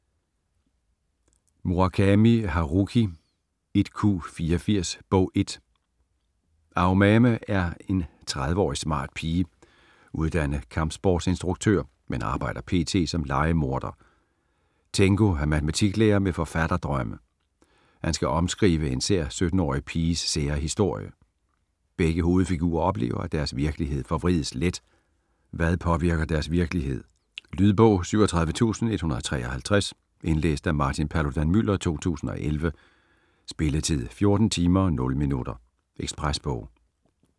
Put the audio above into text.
Murakami, Haruki: 1Q84: Bog 1 Aomame er en 30-årig smart pige, uddannet kampsportsinstruktør men arbejder p.t. som lejemorder. Tengo er matematiklærer med forfatterdrømme. Han skal omskrive en sær 17-årig piges sære historie. Begge hovedfigurer oplever, at deres virkelighed forvrides let, hvad påvirker deres virkelighed? Lydbog 37153 Indlæst af Martin Paludan-Müller, 2011. Spilletid: 14 timer, 0 minutter. Ekspresbog